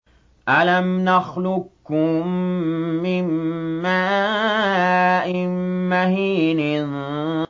أَلَمْ نَخْلُقكُّم مِّن مَّاءٍ مَّهِينٍ